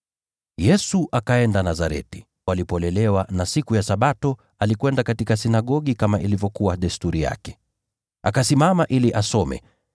Yesu akaenda Nazareti, alipolelewa, na siku ya Sabato alikwenda katika sinagogi kama ilivyokuwa desturi yake. Akasimama ili asome,